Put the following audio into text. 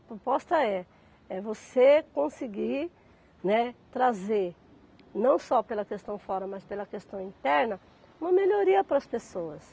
A proposta é, é você conseguir, né trazer, não só pela questão fora, mas pela questão interna, uma melhoria para as pessoas.